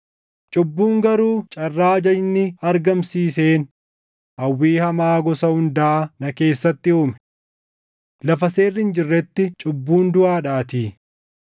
Cubbuun garuu carraa ajajni argamsiiseen hawwii hamaa gosa hundaa na keessatti uume. Lafa seerri hin jirretti cubbuun duʼaadhaatii.